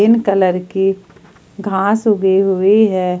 गीन कलर की घास उगी हुई है।